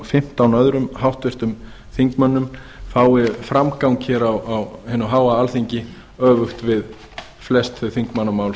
fimmtán öðrum háttvirtum þingmönnum fái framgang hér á hinu háa alþingi öfugt við flest þau þingmannamál